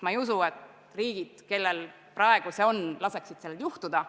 Ma ei usu, et riigid, kellel see praegu on, laseksid sellel juhtuda.